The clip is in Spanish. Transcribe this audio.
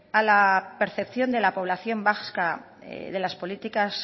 a la percepción de la población vasca de las políticas